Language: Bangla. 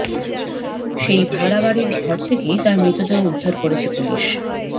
সেই ভাড়া বাড়ির ঘর থেকেই তাঁর মৃতদেহ উদ্ধার করেছে পুলিশ